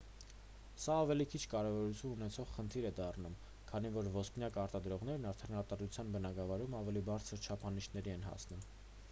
սա ավելի քիչ կարևորություն ունեցող խնդիր է դառնում քանի որ ոսպնյակ արտադրողներն այդ արտադրության բնագավառում ավելի բարձր չափանիշների են հասնում